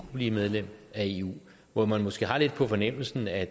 blive medlem af eu hvor man måske har lidt på fornemmelsen at